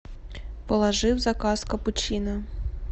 положи в заказ капучино